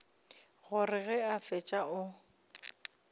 gore ge a fetša o